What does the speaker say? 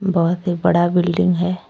बहोत ही बड़ा बिल्डिंग है।